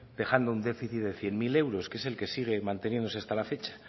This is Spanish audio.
dejando un déficit de cien mil euros que es el sigue manteniéndose hasta la fecha